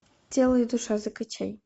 тело и душа закачай